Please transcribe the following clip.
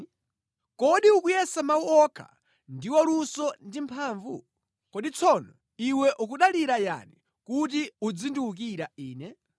Iwe ukuti uli ndi luso ndiponso mphamvu pa nkhondo, komatu ukuyankhula mawu opanda pake. Kodi tsono iwe ukudalira yani kuti undiwukire ine?